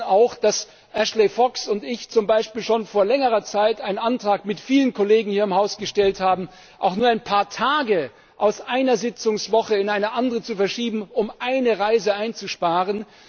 Wenige wissen auch, dass Ashley Fox und ich zum Beispiel schon vor längerer Zeit einen Antrag mit vielen Kollegen hier im Haus gestellt haben, nur ein paar Tage aus einer Sitzungswoche in eine andere zu verschieben, um eine Reise einzusparen.